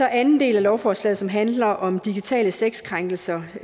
anden del af lovforslaget handler om digitale sexkrænkelser